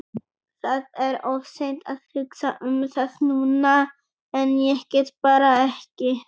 Það er of seint að hugsa um það núna en ég get bara ekki.